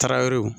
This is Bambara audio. Tarawele